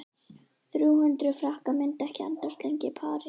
Þrjú hundruð frankar myndu ekki endast lengi í París.